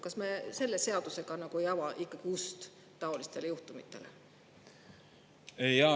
Kas me selle seadusega ei ava ikkagi ust taolistele juhtumitele?